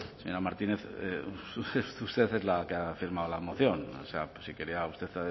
señora martínez usted es la que ha firmado la moción o sea si quería usted